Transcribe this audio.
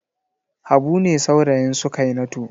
Habu ne saurayin Sukainatu.